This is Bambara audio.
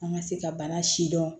An ka se ka bana si dɔn